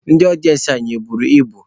Ndị ọdịensị anyị e buru ibu?